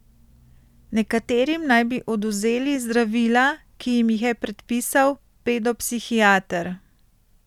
Nekaterim naj bi odvzeli zdravila, ki jim jih je predpisal pedopsihiater.